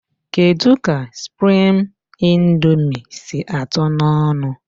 Kedụ ka suprime índomi sị àtó n' ọṅụ?